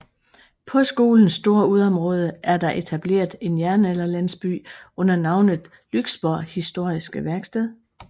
På skolens store udeområde er der etableret en jernalderlandsby under navnet Lyksborg Historiske Værksted